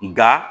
Nka